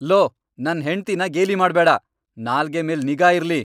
Low, ನನ್ ಹೆಂಡ್ತಿನ ಗೇಲಿ ಮಾಡ್ಬೇಡ! ನಾಲ್ಗೆ ಮೇಲ್ ನಿಗಾ ಇರ್ಲಿ!